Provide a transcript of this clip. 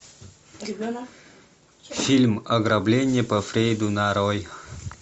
фильм ограбление по фрейду нарой